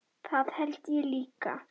Það held ég líka